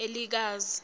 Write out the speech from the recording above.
elikazi